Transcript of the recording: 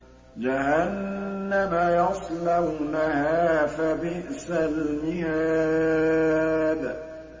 جَهَنَّمَ يَصْلَوْنَهَا فَبِئْسَ الْمِهَادُ